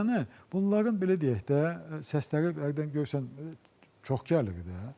Yəni bunların belə deyək də səsləri bərədən görürsən çox gəlir də.